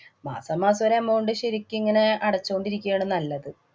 മാസാമാസം ഒരു amount ശരിക്കും ഇങ്ങനെ അടച്ചോണ്ടിരിക്കയാണ് നല്ലത്.